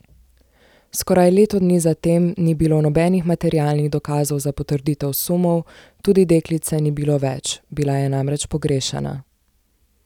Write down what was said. Skoraj leto dni zatem ni bilo nobenih materialnih dokazov za potrditev sumov, tudi deklice ni bilo več, bila je namreč pogrešana.